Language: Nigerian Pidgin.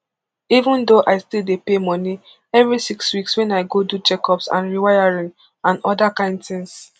even thought i still dey pay money every six weeks wen i go do checkups and rewiring and oda kain tins